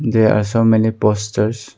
There are so many posters.